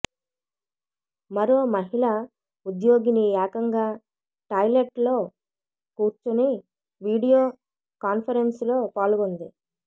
మరో మహిళ ఉద్యోగిని ఏకంగా టాయిలెట్లో కుర్చొని వీడియో కాన్ఫెరెన్సులో పాల్గొంది